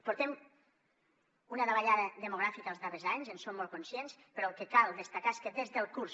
portem una davallada demogràfica els darrers anys en som molt conscients però el que cal destacar és que des del curs